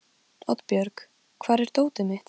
Oddbjörg, hvar er dótið mitt?